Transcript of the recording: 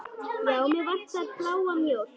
Já, mig vantar bláa mjólk.